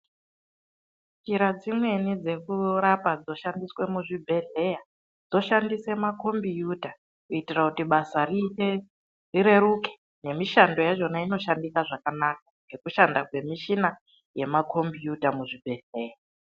Njira dzimweni dzekurapa dzoshandiswe muzvibhedhleya dzoshandise makombiyuta kuitira basa rireruke, nemishando yakhona inoshandika zvakanaka, ngekushanda kwemakombiyuta muzvibhehleya. .